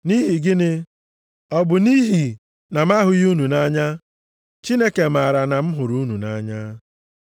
Nʼihi gịnị? Ọ bụ nʼihi na m ahụghị unu nʼanya? Chineke maara na m hụrụ unu nʼanya.